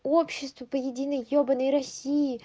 общество по единой ебаной россии